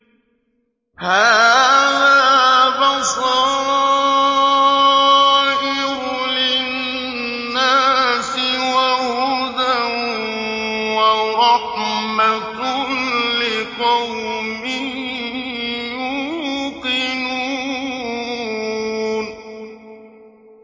هَٰذَا بَصَائِرُ لِلنَّاسِ وَهُدًى وَرَحْمَةٌ لِّقَوْمٍ يُوقِنُونَ